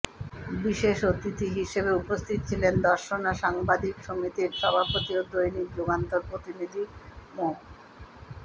বিশেষ অতিথি হিসেবে উপস্থিত ছিলেন দর্শনা সাংবাদিক সমিতির সভাপতি ও দৈনিক যুগান্তর প্রতিনিধি মো